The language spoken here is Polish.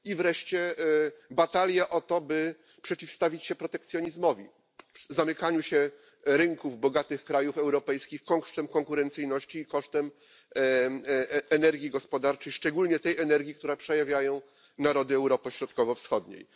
I wreszcie batalia o to, by przeciwstawić się protekcjonizmowi, zamykaniu się rynków bogatych krajów europejskich w tym konkurencyjności kosztem energii gospodarczej, szczególnie tej energii, którą przejawiają narody Europy Środkowo Wschodniej.